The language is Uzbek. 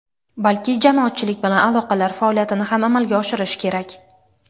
balki jamoatchilik bilan aloqalar faoliyatini ham amalga oshirishi kerak.